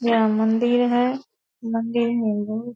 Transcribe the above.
यह मंदिर है मंदिर में बहुत --